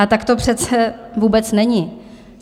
A tak to přece vůbec není.